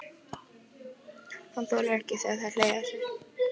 Hann þolir ekki að það sé hlegið að sér.